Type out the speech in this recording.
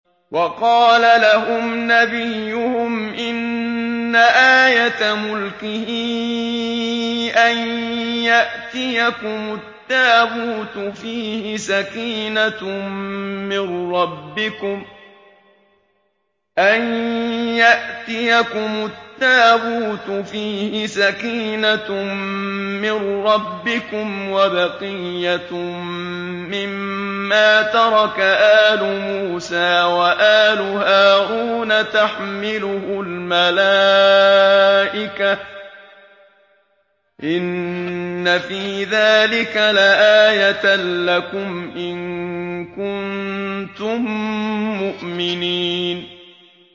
وَقَالَ لَهُمْ نَبِيُّهُمْ إِنَّ آيَةَ مُلْكِهِ أَن يَأْتِيَكُمُ التَّابُوتُ فِيهِ سَكِينَةٌ مِّن رَّبِّكُمْ وَبَقِيَّةٌ مِّمَّا تَرَكَ آلُ مُوسَىٰ وَآلُ هَارُونَ تَحْمِلُهُ الْمَلَائِكَةُ ۚ إِنَّ فِي ذَٰلِكَ لَآيَةً لَّكُمْ إِن كُنتُم مُّؤْمِنِينَ